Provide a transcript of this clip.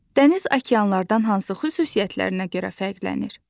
Dəniz okeanlardan hansı xüsusiyyətlərinə görə fərqlənir?